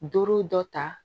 Duuru dɔ ta